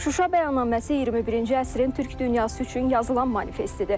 Şuşa bəyannaməsi 21-ci əsrin türk dünyası üçün yazılan manifestidir.